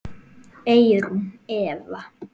Eyrún Eva.